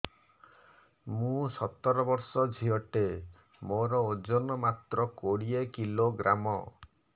ମୁଁ ସତର ବର୍ଷ ଝିଅ ଟେ ମୋର ଓଜନ ମାତ୍ର କୋଡ଼ିଏ କିଲୋଗ୍ରାମ